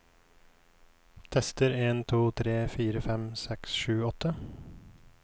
Tester en to tre fire fem seks sju åtte